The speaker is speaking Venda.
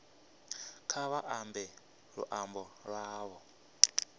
kha vha ambe luambo lwavho